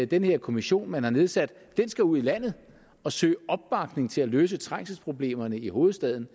den her kommission man har nedsat skal ud i landet og søge opbakning til at løse trængselsproblemerne i hovedstaden